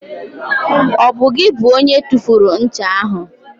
Ọ bụ gị bụ onye tụfuru ncha ahụ?